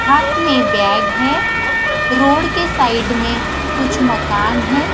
हाथ में बेग है रोड के साइड में कुछ मकान है।